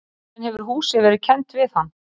Síðan hefur húsið verið kennt við hann.